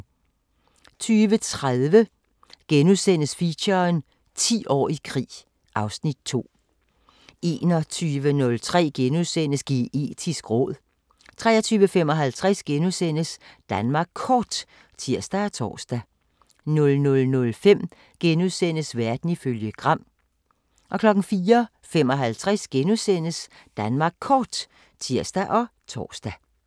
20:30: Feature: 10 år i krig (Afs. 2)* 21:03: Geetisk råd * 23:55: Danmark Kort *(tir og tor) 00:05: Verden ifølge Gram * 04:55: Danmark Kort *(tir og tor)